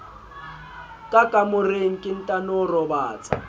ka kamoreng ke ntano robatsa